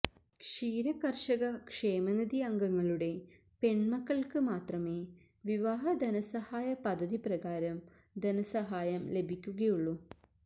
ക്ഷീരകര്ഷക ക്ഷേമനിധി അംഗങ്ങളുടെ പെണ്മക്കള്ക്ക് മാത്രമേ വിവാഹ ധനസഹായ പദ്ധതി പ്രകാരം ധനസഹായം ലഭിയ്ക്കുകയുള്ളു